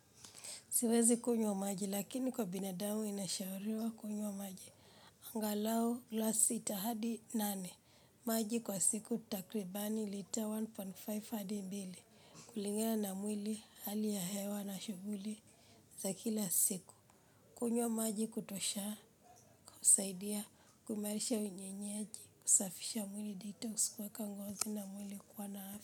Siwezi kunywa maji lakini kwa binadamu inashauriwa kunywa maji. Angalau glass sita hadi nane. Maji kwa siku takribani lita moja nukta tano hadi mbili. Kulingana na mwili hali ya hewa na shughuli za kila siku. Kunywa maji kutosha, husaidia, kuimarisha unye nyeji, kusafisha mwili detox kuweka ngozi na mwili kuwana afya.